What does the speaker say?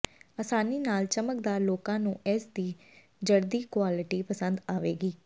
ਆਸਾਨੀ ਨਾਲ ਚਮਕਦਾਰ ਲੋਕਾਂ ਨੂੰ ਇਸ ਦੀ ਜੜਦੀ ਕੁਆਲਿਟੀ ਪਸੰਦ ਆਵੇਗੀ